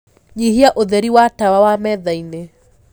nyĩhĩa ũtherĩ wa tawa wa methaĩnĩ